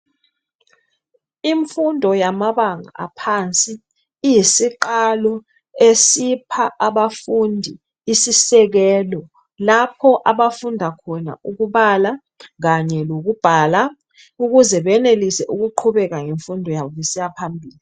Imfundo yamabanga aphansi iyisiqalo esipha abafundi isisekelo lapho abafunda khona ukubala kanye lokubhala ukuze benelisa ukuqhubeka ngemfundo yabo besiya phambili